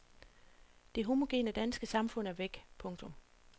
Det homogene danske samfund er væk. punktum